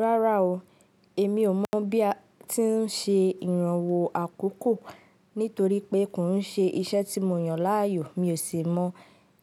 Rárá o, èmi ò mọ̀ bí a ti ń ṣe ìrànwọ́ àkókò nítorí pé kò ń ṣe iṣẹ́ tí mo yàn láàyò, mi ò sì mọ